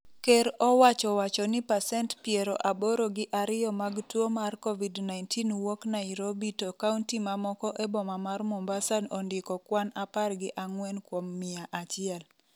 ker owacho wacho ni pacent piero aboro gi ariyo mag tuo mar Covid-19 wuok Nairobi to kaunti mamoko e boma mar Mombasa ondiko kwan apar gi ang'wen kuom mia achiel.